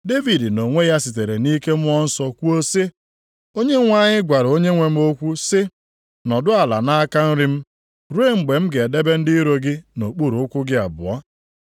Devid nʼonwe ya sitere nʼike Mmụọ Nsọ kwuo sị, “ ‘Onyenwe anyị gwara Onyenwe m okwu sị, “Nọdụ ala nʼaka nri m ruo mgbe m ga-edebe ndị iro gị nʼokpuru ụkwụ gị abụọ.” ’+ 12:36 \+xt Abụ 110:1\+xt*